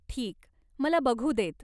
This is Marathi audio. ठीक, मला बघू देत.